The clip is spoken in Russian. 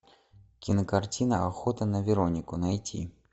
кинокартина охота на веронику найти